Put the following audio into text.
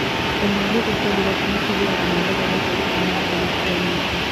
O na mbũtũ cia thuraku nĩ cithiaga na igathondeka itara mahinda matiganĩte.